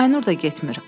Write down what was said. Aynur da getmir.